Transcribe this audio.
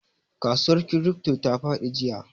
Kasuwar crypto ta fadi jiya.